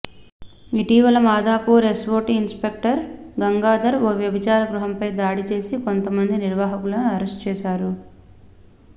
ఇటీవల Madhapur SOT inspector Gangadhar ఓ వ్యభిచార గృహంపై దాడి చేసి కొంత మంది నిర్వాహకులను అరెస్టు చేశారు